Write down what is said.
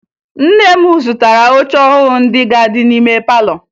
Nne m zụtara oche ọhụrụ ndị ga-adị n'ime palọ